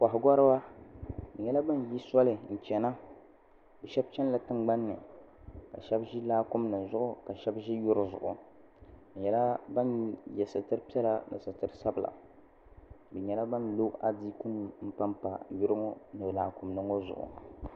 Koha goriba bɛ nyɛla bin yi soli n chena bɛ sheba chenila tingbanni ka sheba ʒi laakumi nima zuɣu ka sheba ʒi yuri zuɣu bɛ nyɛla ban ye sitiri piɛla ni sitiri sabila bɛ nyɛla ban lo adiiku nima pa yuri ŋɔ ni laakumi nima ŋɔ zuɣu.